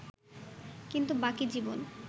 কিন্তু বাকি জীবন